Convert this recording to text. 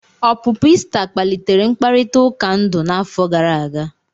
Ọpụpụ Ị́sta kpalitere mkparịta ụka ndu n'afọ gara aga.